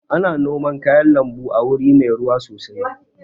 Ana noman kayan lambu a wuri mai ruwa sosai